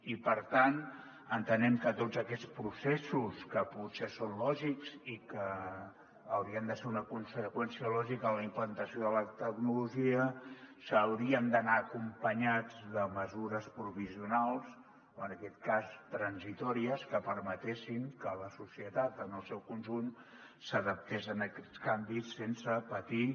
i per tant entenem que tots aquests processos que potser són lògics i que hau·rien de ser una conseqüència lògica de la implantació de la tecnologia haurien d’anar acompanyats de mesures provisionals o en aquest cas transitòries que per·metessin que la societat en el seu conjunt s’adaptés a aquests canvis sense patir